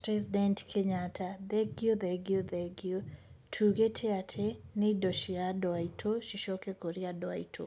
President Kenyatta: thengiũ thengiũ thengiũ, tuugite ati ni indo cia andũ aitũ cicoke kuri andũ aitũ.